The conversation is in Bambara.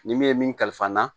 Ni min ye min kalifa n na